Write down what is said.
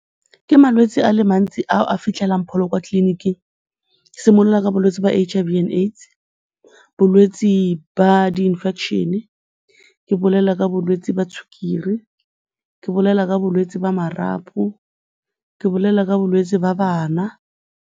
Ke malwetsi a le mantsi ao a fitlhelang pholo kwa tleliniking, ke simolola ka bolwetsi ba H_I_V and AIDS, bolwetsi ba di-infection-e, ke bolela ka bolwetsi jwa sukiri, ke bolela ka bolwetsi ba marapo, ke bolela ka bolwetse ba bana.